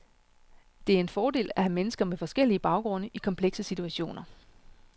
Det er en fordel at have mennesker med forskellige baggrunde i komplekse situationer.